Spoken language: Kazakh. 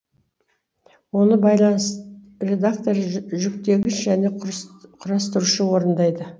оны байланыс редакторы жүктегіш жөне құрастырушы орындайды